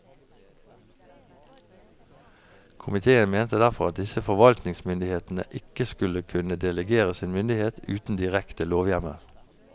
Komiteen mente derfor at disse forvaltningsmyndighetene ikke skulle kunne delegere sin myndighet uten direkte lovhjemmel.